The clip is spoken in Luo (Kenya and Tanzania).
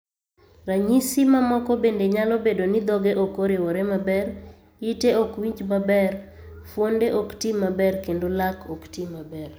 Ranyisi mamoko bende nyalo bedo ni dhoge ok oriwore maber, ite ok winj maber, fuonde ok ti maber, kendo lak ok ti maber.